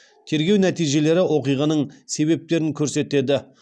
тергеу нәтижелері оқиғаның себептерін көрсетеді